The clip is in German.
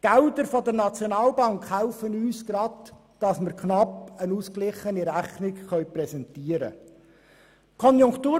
Die Gelder der Nationalbank helfen uns, damit wir knapp eine ausgeglichene Rechnung präsentieren können.